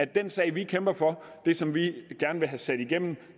den sag vi kæmper for det som vi gerne vil have sat igennem